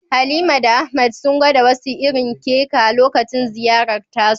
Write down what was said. Halima da Ahmad sun gwada wasu irin kek a lokacin ziyarar tasu